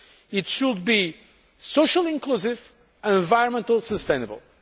It should be socially inclusive and environmentally sustainable.